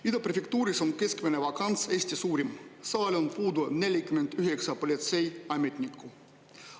Ida Prefektuuris on keskmine vakants Eesti suurim, seal on puudu 49 politseiametnikku.